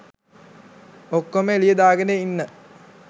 ඔක්කොම එළියෙ දාගෙන ඉන්න.